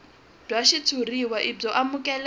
bya xitshuriwa i byo amukeleka